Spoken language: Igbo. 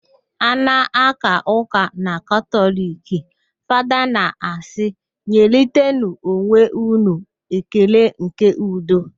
A na-aka ụka na katọliki, Fada na-asị, "nyerịtanụ onwe ụnụ ekele nke udo"